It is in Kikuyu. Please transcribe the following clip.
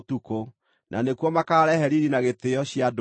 Na nĩkuo makaarehe riiri na gĩtĩĩo cia ndũrĩrĩ.